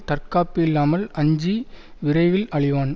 தற்காப்பு இல்லாமல் அஞ்சி விரைவில் அழிவான்